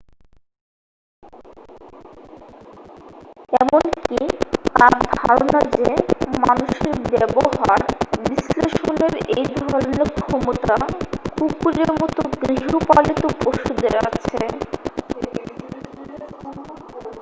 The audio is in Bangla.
এমনকি তার ধারণা যে মানুষের ব্যবহার বিশ্লেষণের এই ধরনের ক্ষমতা কুকুরের মতো গৃহপালিত পশুদের আছে